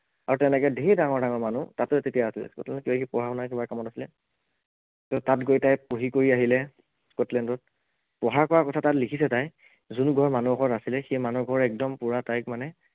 আৰু তেনেকে ধেৰ ডাঙৰ ডাঙৰ মানুহ তাতো তেতিয়া আছিলে পঢ়া শুনা কিবা কামত আছিলে, তে তাত গৈ তাই পঢ়ি কৰি আহিলে, স্কটলেন্ডত, পঢ়া কৰা কথা তাত লিখিছে তাই যোন ঘৰ মানুহৰ ঘৰত আছিলে সেই মানুহ ঘৰ একদম পোৰা তাইক মানে